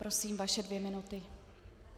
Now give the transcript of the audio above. Prosím vaše dvě minuty.